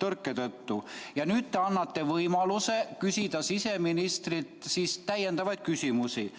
tõrke tõttu ja nüüd te annate võimaluse küsida siseministrilt täiendavaid küsimusi.